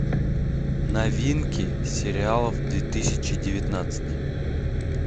новинки сериалов две тысячи девятнадцать